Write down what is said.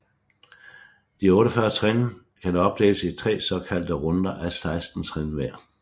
De 48 trin kan opdeles i tre såkaldte runder af 16 trin hver